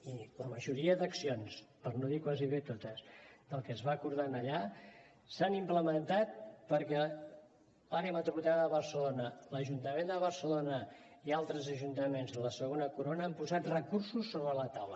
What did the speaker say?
i la majoria d’accions per no dir quasi totes que es van acordar allà s’han implementat perquè l’àrea metropolitana de barcelona l’ajuntament de barcelona i altres ajuntaments de la segona corona han posat recursos sobre la taula